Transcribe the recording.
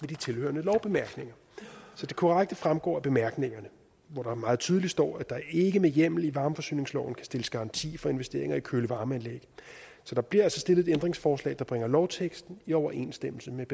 de tilhørende lovbemærkninger så det korrekte fremgår af bemærkningerne hvor der meget tydeligt står at der ikke med hjemmel i varmforsyningsloven kan stilles garanti for investeringer i køle varme anlæg så der bliver altså stillet et ændringsforslag der bringer lovteksten i overensstemmelse med